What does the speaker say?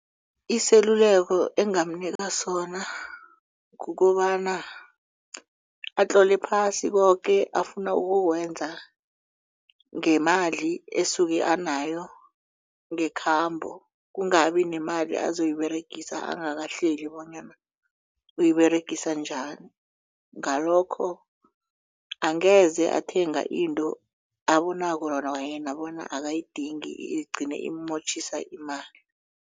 Iseluleko engamnika sona kukobana atlole phasi koke afuna ukukwenza ngemali esuke anayo ngekhambo kungabi nemali azoyiberegisa angakahleleki bonyana uyiberegisa njani ngalokho angeze athenga into abonako kwayena bona akayidingi igcine iimontjhise imali.